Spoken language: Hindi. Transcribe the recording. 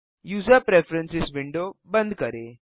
यूजर प्रेफरेंस विंडो बंद करें